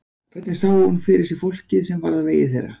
Hvernig sá hún fyrir sér fólkið sem varð á vegi þeirra?